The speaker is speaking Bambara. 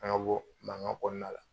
An ka bɔ mankan kɔnɔna la